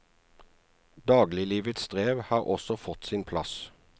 Dagliglivets strev har også fått sin plass.